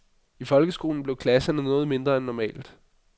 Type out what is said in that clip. I folkeskolen blev klasserne noget mindre end normalt.